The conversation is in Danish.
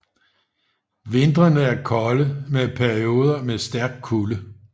Vintrene er kolde med perioder med stærk kulde